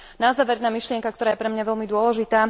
Na záver jedna myšlienka, ktorá je pre mňa veľmi dôležitá.